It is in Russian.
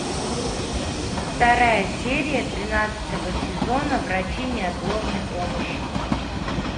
вторая серия тринадцатого сезона врачи неотложной помощи